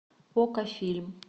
окко фильм